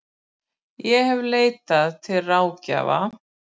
Ég hef aldrei leitað til ráðgjafa.